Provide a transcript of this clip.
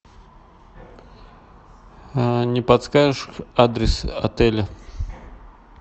не подскажешь адрес отеля